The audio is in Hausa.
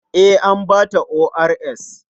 Eh, an ba ta ORS.